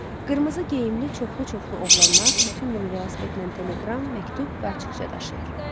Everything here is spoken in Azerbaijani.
Qırmızı geyimli çoxlu-çoxlu oğlanlar bütün günü velosipedlə teleqram, məktub və açıqça daşıyır.